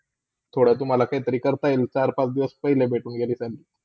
थोडा तुम्हाला काही तरी करता येईल, चार - पांच दिवस पहिले भेटून गेली तर.